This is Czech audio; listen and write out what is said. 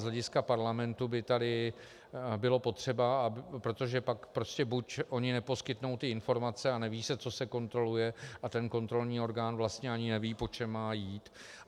Z hlediska parlamentu by tady bylo potřeba, protože pak prostě buď oni neposkytnou ty informace a neví se, co se kontroluje, a ten kontrolní orgán vlastně ani neví, po čem má jít.